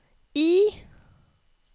I